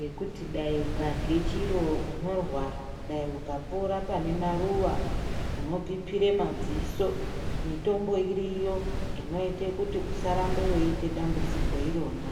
yekuti dai ukadye chiro unorwara dai ukapora pane maruwa unopipire madziso mitombo iriyo inoite kuti usarambe weiite dambudziko irona.